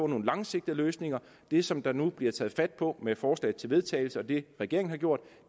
nogle langsigtede løsninger det som der nu bliver taget fat på med forslag til vedtagelse og det regeringen har gjort